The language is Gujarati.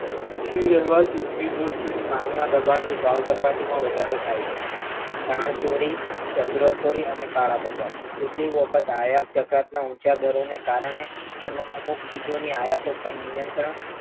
સ્થિર રહેવાથી ચીજવસ્તુની માંગના દબાણથી ભાવસપાટીમાં વધારો થાય છે દાણચોરી સંગ્રહખોરી અને કાળાબજાર કેટલીક વખત આયાત જકાતના ઊંચા દરોને કારણે તેમજ અમુક ચીજોની આયાતો પર નિયંત્રણ